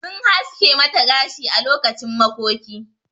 Sun haske mata gashi ã lokacin makoki.